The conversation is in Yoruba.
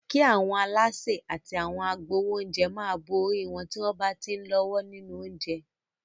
Kí àwọn alásè àti àwọn agbáwo oúnjẹ máa bo orí wọn tí wọ́n bá ti ń lọ́wọ́ nínú oúnjẹ.